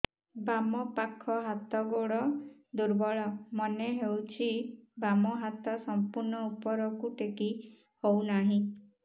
ବାମ ପାଖ ହାତ ଗୋଡ ଦୁର୍ବଳ ମନେ ହଉଛି ବାମ ହାତ ସମ୍ପୂର୍ଣ ଉପରକୁ ଟେକି ହଉ ନାହିଁ